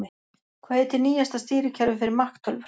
Hvað heitir nýjasta stýrikerfið fyrir Mac tölvur?